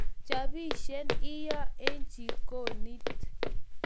Chobishe iyoo eng jikonit